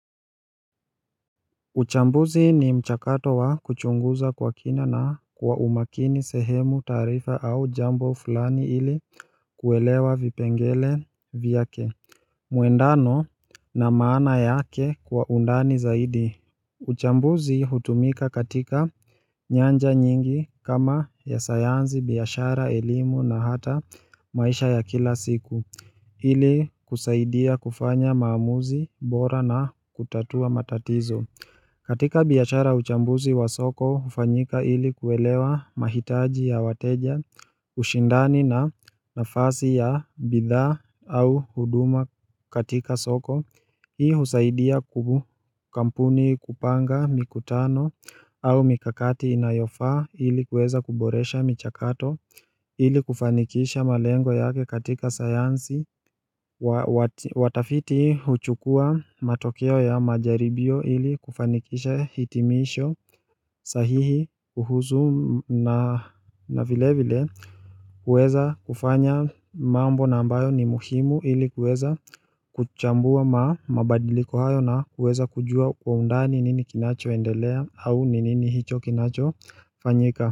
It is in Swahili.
Uchambuzi ni mchakato wa kuchunguza kwa kina na kwa umakini sehemu taarifa au jambo fulani ili kuelewa vipengele vyake Muendano na maana yake kwa undani zaidi uchambuzi hutumika katika nyanja nyingi kama ya sayanzi biashara elimu na hata maisha ya kila siku Hili kusaidia kufanya maamuzi bora na kutatua matatizo katika biashara uchambuzi wa soko, ufanyika ili kuelewa mahitaji ya wateja, ushindani na nafasi ya bidhaa au huduma katika soko. Hii husaidia kwa kampuni kupanga mikutano au mikakati inayofaa ili kuweza kuboresha michakato ili kufanikisha malengo yake katika sayansi. Watafiti uchukua matokeo ya majaribio ili kufanikisha hitimisho sahihi kuhusu na vile vile kuweza kufanya mambo na ambayo ni muhimu ili kuweza kuchambua ma mabadiliko hayo na kueza kujua kwa undani nini kinacho endelea au nini nini hicho kinacho fanyika.